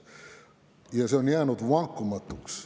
Ja see on jäänud vankumatuks.